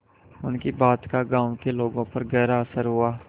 उनकी बात का गांव के लोगों पर गहरा असर हुआ